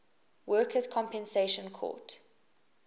workers compensation court